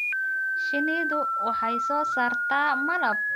Shinnidu waxay soo saartaa malab.